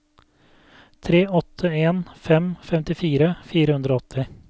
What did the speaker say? tre åtte en fem femtifire fire hundre og åtti